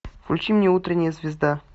включи мне утренняя звезда